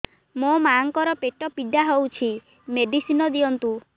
ମୋ ମାଆଙ୍କର ପେଟ ପୀଡା ହଉଛି ମେଡିସିନ ଦିଅନ୍ତୁ